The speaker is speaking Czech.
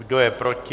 Kdo je proti?